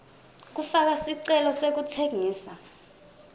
kufaka sicelo sekutsengisa